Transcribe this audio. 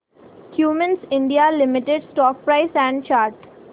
Cummins India limited stock price and chart